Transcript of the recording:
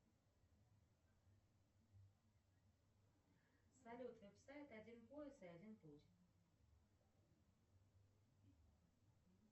салют веб сайт один полюс и один путь